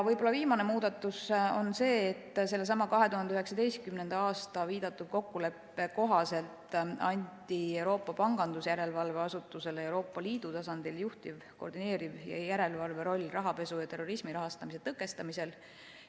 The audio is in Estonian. Võib-olla viimane muudatus on see, et sellesama 2019. aasta viidatud kokkuleppe kohaselt anti Euroopa Pangandusjärelevalve Asutusele Euroopa Liidu tasandil juhtiv, koordineeriv ja järelevalveroll rahapesu ja terrorismi rahastamise tõkestamisel.